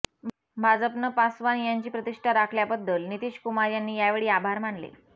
भाजपनं पासवान यांची प्रतिष्ठा राखल्याबद्दल नितीश कुमार यांनी यावेळी आभार मानले